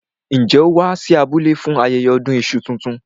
Njẹ́ ó wá sí abúlé fún ayẹyẹ ọdún iṣu tuntun?